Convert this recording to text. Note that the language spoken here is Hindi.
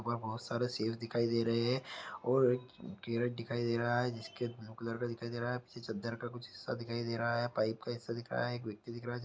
बहुत सारा सेव दिखाई दे रहे है और एक केरट दिखाई दे रहा है जिसके ब्लू कलर का दिखाई दे रहा है पीछे चद्दर का कुछ हिस्सा दिखाई दे रहा है पाइप का हिस्सा दिख रहा है एक व्यक्ति दिख रहा है।